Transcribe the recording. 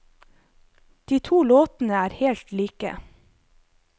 De to låtene er helt like.